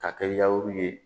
Ka kɛ yawuru ye